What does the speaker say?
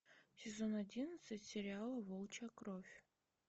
сезон одиннадцать сериала волчья кровь